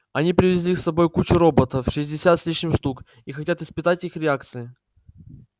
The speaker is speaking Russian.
они привезли с собой кучу роботов шестьдесят с лишним штук и хотят испытывать их реакции